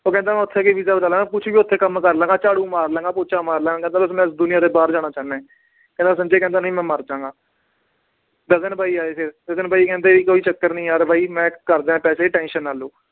ਉਹ ਕਹਿੰਦਾ ਮੈਂ ਉੱਥੇ ਜਾ ਕੇ ਵੀਜਾ ਲਗਾ ਲਵਾਂਗਾ ਕੁਛ ਵੀ ਉੱਥੇ ਕੰਮ ਕਰ ਲਵਾਂਗਾ, ਝਾੜੂ ਮਾਰ ਲਵਾਂਗੇ, ਪੋਚਾ ਮਾਰ ਲਵਾਂਗਾ ਕਹਿੰਦਾ ਬਸ ਮੈਂ ਦੁਨੀਆਂ ਦੇ ਬਾਹਰ ਜਾਣਾ ਚਾਹੁਨਾ ਹੈ ਕਹਿੰਦਾ ਸੰਜੇ ਕਹਿੰਦਾ ਨਹੀਂ ਮੈਂ ਮਰ ਜਾਵਾਂਗਾ ਗਗਨ ਬਾਈ ਆਏ ਫਿਰ ਗਗਨ ਬਾਈ ਕਹਿੰਦੇ ਕੋਈ ਚੱਕਰ ਨੀ ਯਾਰ ਬਾਈ ਮੈਂ ਕਰਦੇ ਹਾਂ ਪੈਸੇ tension ਨਾ ਲਓ